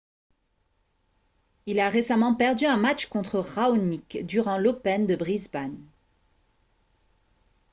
il a récemment perdu un match contre raonic durant l'open de brisbane